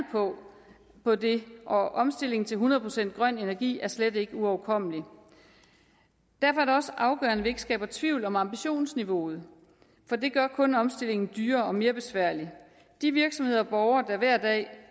på det og omstilling til hundrede procent grøn energi er slet ikke uoverkommelig derfor er det også afgørende at vi ikke skaber tvivl om ambitionsniveauet for det gør kun omstillingen dyrere og mere besværlig de virksomheder og borgere der hver dag